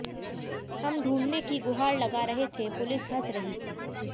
हम ढूंढ़ने की गुहार लगा रहे थे पुलिस हंस रही थी